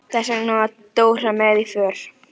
Þess vegna var Dóra með í för.